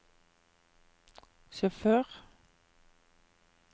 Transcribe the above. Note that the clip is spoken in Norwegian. sjåfør